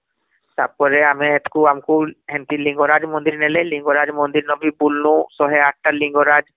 ତାପରେ ଆମେ ଏଥକୁ ଆମେ ହେଂତି ଲିଙ୍ଗରାଜ ମନ୍ଦିର ନେଲେ ଲିଙ୍ଗରାଜ ମନ୍ଦିର ନ ବି ବୁଲିନୁ ୧୦୮ ଲିଙ୍ଗରାଜ ମନ୍ଦିର ରେ